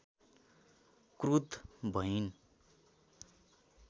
क्रुद्ध भइन्